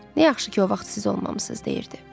Nə yaxşı ki, o vaxt siz olmamısınız, deyirdi.